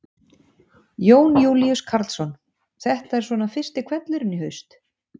Jón Júlíus Karlsson: Þetta er svona fyrsti hvellurinn í haust?